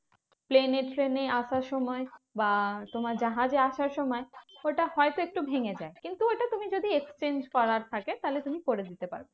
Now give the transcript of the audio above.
Plane এ ট্রেনে আসার সময় বা তোমার জাহাজে আসার সময় ওটা হয়তো একটু ভেঙে যায় কিন্তু ওটা তুমি যদি exchange করার থাকে তাহলে তুমি করে দিতে পারো।